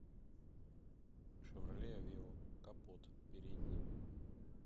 шевроле авео капот передний